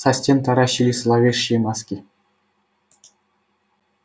со стен таращились зловещие маски